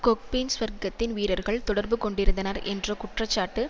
கொக்பேன் சுவர்க்கத்தின் வீரர்கள் தொடர்பு கொண்டிருந்தனர் என்ற குற்றச்சாட்டு